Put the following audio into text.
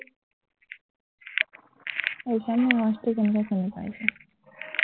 সেইকাৰণে আৱাজটো তেনেকুৱা শুনিছো